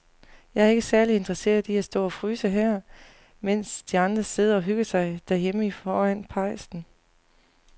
Jeg er ikke særlig interesseret i at stå og fryse her, mens de andre sidder og hygger sig derhjemme foran pejsen.